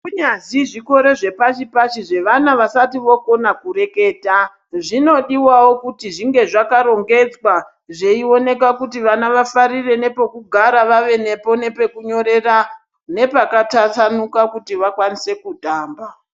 Kunyazi zvikoro zvepashi-pashi zvevana vasati vokona kureketa, zvinodiwavo kuti zvinge zvakarongedzwa zveioneka kuti vana vafarire nepokugara vave nepo nepekunyorera nepakatasanuka kuti vakwanise kutamba.